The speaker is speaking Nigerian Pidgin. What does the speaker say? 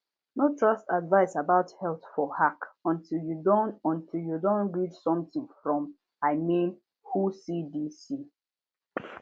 no trust advice about health for hack until you don until you don read something from i mean whocdc